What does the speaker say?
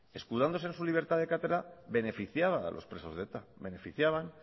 escudándose en su libertad de cátedra beneficiaban a los presos de eta beneficiaban